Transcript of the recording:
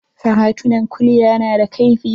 Faratunan kulya na da kaifi.